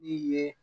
I ye